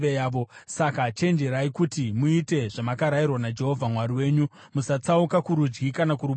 Saka chenjerai kuti muite zvamakarayirwa naJehovha Mwari wenyu; musatsauka kurudyi kana kuruboshwe.